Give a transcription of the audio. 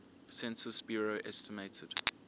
census bureau estimated